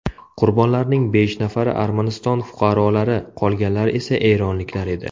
Qurbonlarning besh nafari Armaniston fuqarolari, qolganlar esa eronliklar edi.